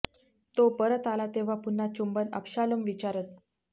तो परत आला तेव्हा पुन्हा चुंबन अबशालोम विचारत